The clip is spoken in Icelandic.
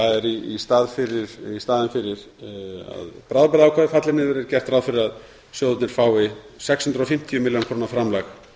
í staðinn fyrir að bráðabirgðaákvæðið falli niður er gert ráð fyrir að sjóðirnir fái sex hundruð og fimmtíu milljónir króna framlag